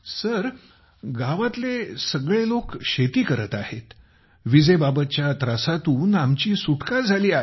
sir गावातले सगळे लोक शेती करत आहेत विजेबाबतच्या त्रासातून आमची सुटका झाली आहे